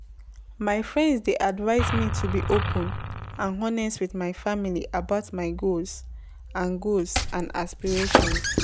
My friend dey advise me to be open and honest with my family about my goals and goals and aspirations.